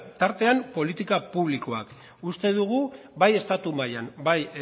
tartean politika publikoak uste dugu bai estatu mailan bai